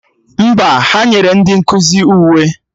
Mba, ha nyere ndị nkụzi uwe